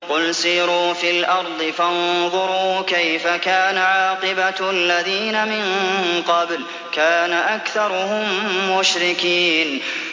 قُلْ سِيرُوا فِي الْأَرْضِ فَانظُرُوا كَيْفَ كَانَ عَاقِبَةُ الَّذِينَ مِن قَبْلُ ۚ كَانَ أَكْثَرُهُم مُّشْرِكِينَ